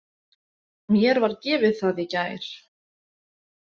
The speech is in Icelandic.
Mér var gefið það í gær.